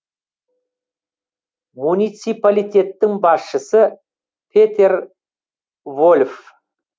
муниципалитеттің басшысы петер вольф